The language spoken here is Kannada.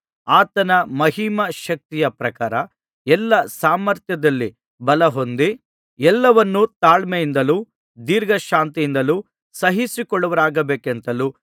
ಆತನ ಮಹಿಮಾ ಶಕ್ತಿಯ ಪ್ರಕಾರ ಎಲ್ಲಾ ಸಾಮರ್ಥ್ಯದಲ್ಲಿ ಬಲಹೊಂದಿ ಎಲ್ಲವನ್ನೂ ತಾಳ್ಮೆಯಿಂದಲೂ ದೀರ್ಘಶಾಂತಿಯಿಂದಲೂ ಸಹಿಸಿಕೊಳ್ಳುವವರಾಗಿರಬೇಕೆಂತಲೂ